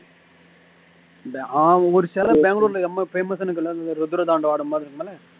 ஆஹ் ஒரு சில பெங்களூர்ல ரொம்ப famous